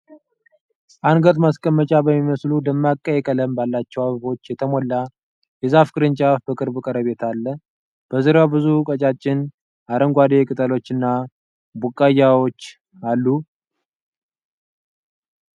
አንገት ማስቀመጫ በሚመስሉ፣ ደማቅ ቀይ ቀለም ባላቸው አበቦች የተሞላ የዛፍ ቅርንጫፍ በቅርብ ቀረቤታ አሉ። በዙሪያው ብዙ ቀጫጭን አረንጓዴ ቅጠሎችና ቡቃያዎች አሉ።